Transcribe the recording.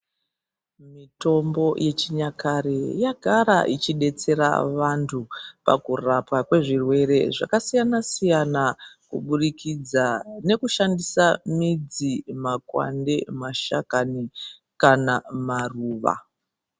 Mitombo yechinyakare yagara ichidetsera antu pakurapwa kwezvirwere zvakasiyana siyana kubudikidza nekushandisa midzi makwande nemashakani kana maruwa.